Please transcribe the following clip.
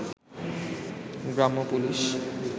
গ্রাম্য পুলিশ